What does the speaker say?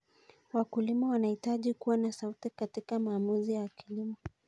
Wakulima wanahitaji kuwa na sauti katika maamuzi ya kilimo.